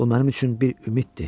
Bu mənim üçün bir ümiddir.